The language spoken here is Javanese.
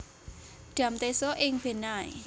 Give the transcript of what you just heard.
Dam Teso ing Benai